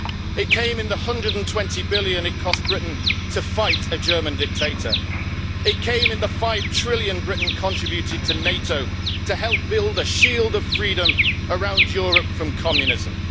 It came in the 120 billion it cost Britain to fight a German dictator, it came in the 5 trillion Britain contributed to NATO to help build a shield of freedom around Europe from communism.